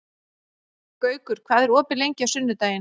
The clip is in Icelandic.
Gaukur, hvað er opið lengi á sunnudaginn?